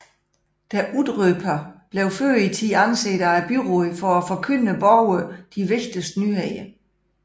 Der Utröper blev før i tiden ansat af byrådet for at forkynde borgerne de vigtigste nyheder